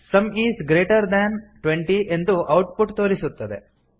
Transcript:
some is greater than twenty ಎಂದು output ತೋರಿಸುತ್ತದೆ